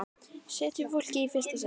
Setjum fólkið í fyrsta sæti.